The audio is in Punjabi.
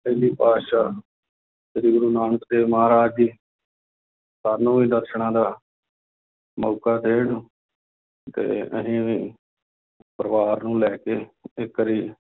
ਪਹਿਲੇ ਪਾਤਿਸ਼ਾਹ ਸ੍ਰੀ ਗੁਰੂ ਨਾਨਕ ਦੇਵ ਮਹਾਰਾਜ ਜੀ ਸਾਨੂੰ ਵੀ ਦਰਸਨਾਂ ਦਾ ਮੌਕਾ ਦੇਣ ਤੇ ਅਸੀਂ ਵੀ ਪਰਿਵਾਰ ਨੂੰ ਲੈ ਕੇ ਇੱਕ ਵਾਰੀ